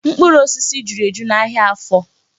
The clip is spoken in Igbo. Mkpụrụ osisi juru eju n'ahịa Afọ.